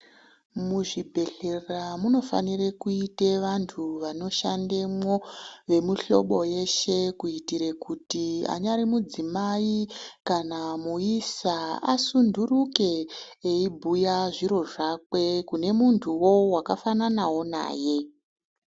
Muzvibhedhlera munofanira kuite vanthu vanoshandemwo vemuhlobo yeshe kuitire kuti anyari mudzimai kana muisa asunturike eibhuya zviro zvakwe kune muntuwo wakafananawo naye.